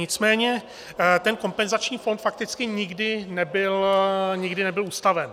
Nicméně ten kompenzační fond fakticky nikdy nebyl ustaven.